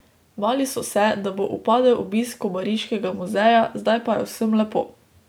Bali so se, da bo upadel obisk Kobariškega muzeja, zdaj pa je vsem lepo.